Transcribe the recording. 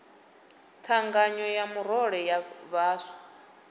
thangana ya murole ya vhaswa